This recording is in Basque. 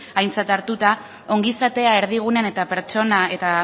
aintzat hartuta ongizatea erdigunean eta pertsona eta